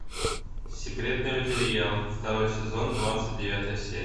секретные материалы второй сезон двадцать девятая серия